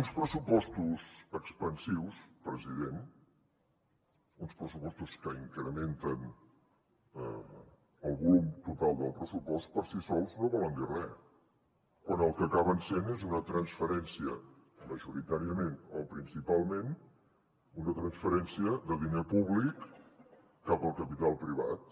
uns pressupostos expansius president uns pressupostos que incrementen el volum total del pressupost per si sols no volen dir res quan el que acaben sent és majoritàriament o principalment una transferència de diner públic cap al capital privat